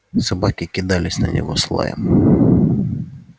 собаки кидались на него с лаем